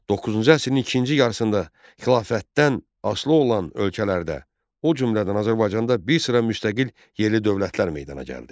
Doqquzuncu əsrin ikinci yarısında xilafətdən asılı olan ölkələrdə, o cümlədən Azərbaycanda bir sıra müstəqil yerli dövlətlər meydana gəldi.